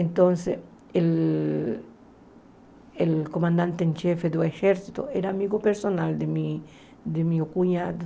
Então, o o comandante-em-chefe do exército era amigo pessoal do meu do meu cunhado.